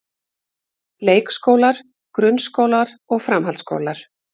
Leikskólar, grunnskólar og framhaldsskólar.